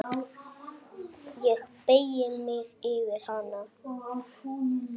Ég beygi mig yfir hana.